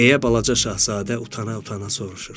deyə balaca şahzadə utana-utana soruşur.